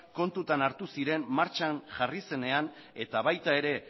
kontutan hartu ziren martxan jarri zenean eta baita ere